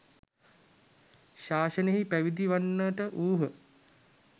ශාසනයෙහි පැවිදි වන්නට වූහ.